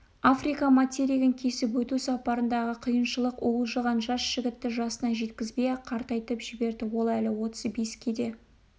африка материгін кесіп өту сапарындағы қиыншылық уылжыған жас жігітті жасына жеткізбей-ақ қартайтып жіберді ол әлі отыз беске де